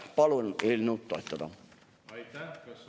Palun eelnõu toetada!